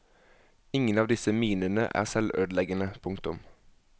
Ingen av disse minene er selvødeleggende. punktum